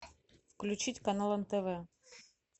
включить канал нтв